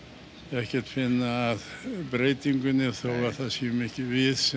ekkert finna að breytingunni þótt það séum ekki við sem